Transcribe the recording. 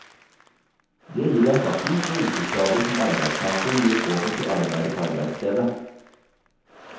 Det gir erstatning for yrkesskader som arbeidstakeren blir påført i arbeidet på arbeidsstedet.